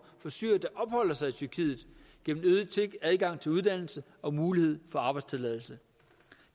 for syrere der opholder sig i tyrkiet gennem øget adgang til uddannelse og mulighed for arbejdstilladelse